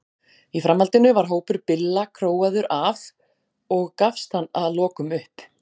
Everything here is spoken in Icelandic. Í framhaldinu var hópur Billa króaður af og gafst hann að lokum upp.